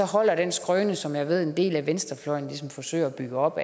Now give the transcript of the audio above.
holder den skrøne som jeg ved at en del af venstrefløjen ligesom forsøger at bygge op